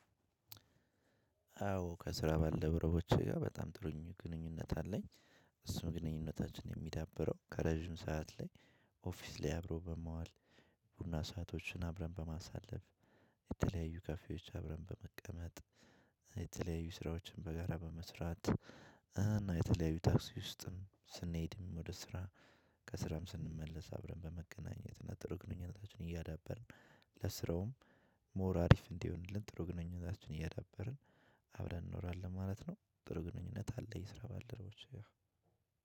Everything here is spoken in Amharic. አዎ ከስራ ባልደረቦቼ ጋር በጣም ጥሩኝ ግንኙነት አለኝ። እሱም ግንኙነታችን የሚዳበረው ከረዥም ሰዓት ላይ ኦፊስ ላይ አብሮ በመዋል ቡና ሰአቶችን አብረን በማሳለፍ የተለያዩ ካፌዎች አብረን በመቀመጥ የተለያዩ ስራዎችን በጋራ በመስራት እና የተለያዩ ታክሲ ውስጥም ስንሄድም ወደ ስራ ከስራም ስንመለስ አብረን በመገናኘት እና ጥሩ ግንኙነታችን እያዳበርን ለስራውም ሞር አሪፍ እንዲሆንለት ጥሩ ግንኙነታችን እያዳበርን አብረን እንኖራለን ማለት ነው። ጥሩ ግንኙነት አለ የስራ ባልደረቦች ጋር።